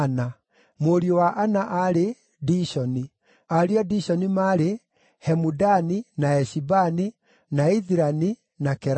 Mũriũ wa Ana aarĩ: Dishoni. Ariũ a Dishoni maarĩ: Hemudani, na Eshibani, na Ithirani, na Kerani.